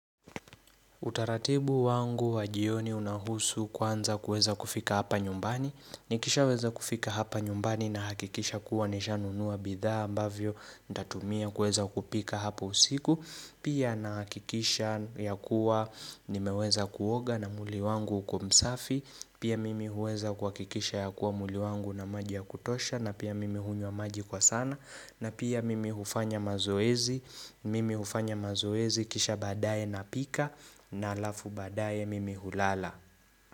Utaratibu wangu wa jioni unahusu kwanza kuweza kufika hapa nyumbani Nikishaweza kufika hapa nyumbani nahakikisha kuwa nishanunua bidhaa ambavyo Nitatumia kuweza kupika hapo usiku Pia nahakikisha ya kuwa nimeweza kuoga na mwili wangu uko msafi Pia mimi huweza kuhakikisha ya kuwa mwili wangu una maji ya kutosha na pia mimi hunywa maji kwa sana na pia mimi hufanya mazoezi Mimi hufanya mazoezi kisha baadaye napika na alafu baadae mimi hulala.